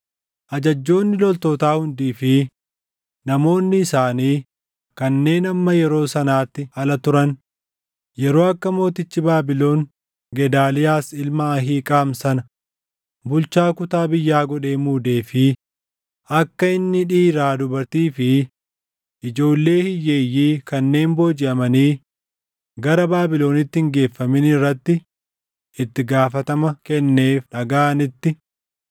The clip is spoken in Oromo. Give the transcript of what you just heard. Ajajjoonni loltootaa hundii fi namoonni isaanii kanneen hamma yeroo sanaatti ala turan yeroo akka mootichi Baabilon Gedaaliyaas ilma Ahiiqaam sana bulchaa kutaa biyyaa godhee muudee fi akka inni dhiiraa dubartii fi ijoollee hiyyeeyyii kanneen boojiʼamanii gara Baabilonitti hin geeffamin irratti itti gaafatama kenneef dhagaʼanitti,